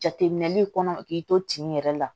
Jateminɛli kɔnɔ k'i to tin yɛrɛ la